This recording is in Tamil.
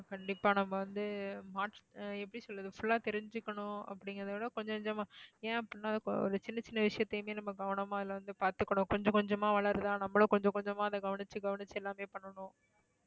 கண்டிப்பா. நம்ம வந்து எப்படி சொல்லறது full ஆ தெரிஞ்சுக்கணும் அப்படிங்கறத கொஞ்ச கொஞ்சமா ஏன் அப்படின்னா சின்ன சின்ன விஷயத்தையுமே நம்ம கவனமா எல்லாம் வந்து பாத்துக்கணும். கொஞ்ச கொஞ்சமா வளருதா, நம்மளும் கொஞ்ச கொஞ்சமா அதை கவனிச்சு கவனிச்சு எல்லாமே பண்ணணும்.